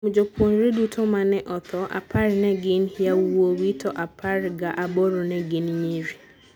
Kuom jopuonjre duto ma ne otho, apar ne gin yawuowi to apar ga aboro ne gin nyiri.